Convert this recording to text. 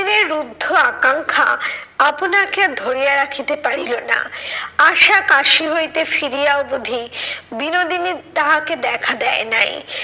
রুদ্ধ আকাঙ্খা আপনাকে আর ধরিয়া রাখিতে পারিল না। আশা কাশি হইতে ফিরিয়া অবধি বিনোদিনী তাহাকে দেখা দেয় নাই